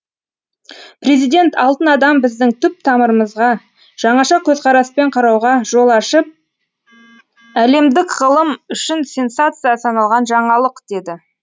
президент алтын адам біздің түп тамырымызға жаңаша көзқараспен қарауға жол ашып әлемдік ғылым үшін сенсация саналған жаңалық деді